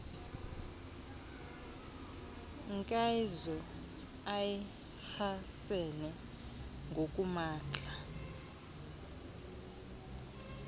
nkeazo iehasene ngokumandla